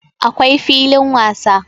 akwai filin wasa